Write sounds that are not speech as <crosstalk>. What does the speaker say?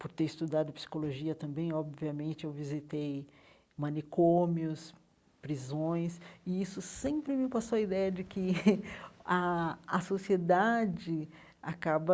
Por ter estudado psicologia também, obviamente, eu visitei manicômios, prisões, e isso sempre me passou a ideia de que <laughs> a a sociedade acaba